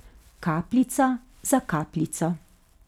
Kapljica za kapljico.